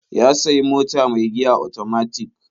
Ya sayi mota mai giya otomatik.